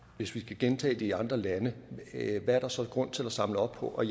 hvis vi skal gentage det i andre lande så er grund til at samle op på og